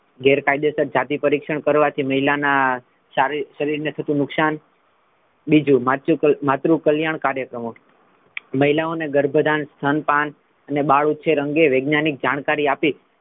ગૈરકાયદેસર જાતિ પરીક્ષણ કરવાથી મહિલા ના શારી ~ શરીરને થતું નુકસાન બીજુ માતૃ કલ્યાણ કાર્યક્રમો મહિલાઓ ને ગર્ભદાન, સ્તનપાન અને બાળ ઉછેર અંગે વૈજ્ઞાનિક જાણકારી આપી,